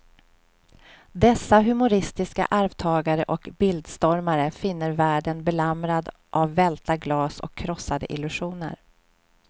Dessa humoristiska arvtagare och bildstormare finner världen belamrad av välta glas och krossade illusioner.